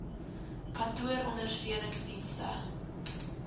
kantoor ondersteunings dienste